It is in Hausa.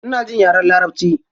Ina jin yaren larabci.